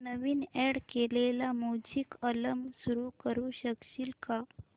नवीन add केलेला music album सुरू करू शकशील का